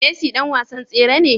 Messi dan wasan tsere ne?